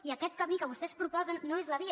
i aquest camí que vostès proposen no és la via